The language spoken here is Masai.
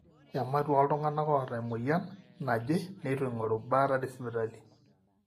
ematua ooltung'anak oota emueyian naje neitu eng'oru baata tesipitali